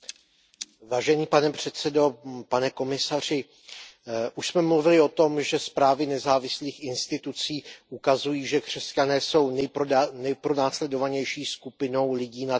Pane předsedající, pane komisaři, už jsme mluvili o tom, že zprávy nezávislých institucí ukazují, že křesťané jsou nejpronásledovanější skupinou lidí na této planetě.